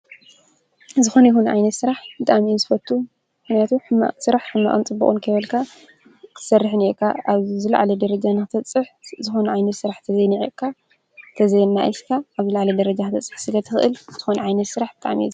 ዝኾነ ይኹን ዓይነት ስራሕ ብጣዓሚ እየ ዝፈቱ። ምኽንያቱ ሕማቕ ስራሕ ሕማቕን ፅቡቕን ከይበልካ ክትሰርሕ እኒኤካ። ኣብ ዝለዓለ ደረጃ ንኽትፅሕ ዝኾነ ዓይነት ስራሕ ተዘይ ኒዒቕካ ተዘይኣናኢስካ ኣብ ዝለዓለ ደረጃ ክትበፅሕ ስለ ትኽእል ዝኾነ ዓይነት ስራሕ ብጣዓሚ እየ ዝፈቱ።